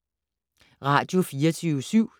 Radio24syv